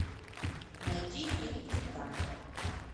найди фильм титаник